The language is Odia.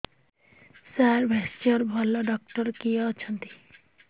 ସାର ଭେଷଜର ଭଲ ଡକ୍ଟର କିଏ ଅଛନ୍ତି